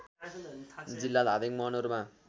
जिल्ला धादिङ मनोरम